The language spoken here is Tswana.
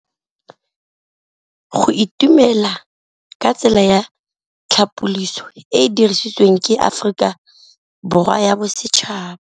Go itumela ke tsela ya tlhapolisô e e dirisitsweng ke Aforika Borwa ya Bosetšhaba.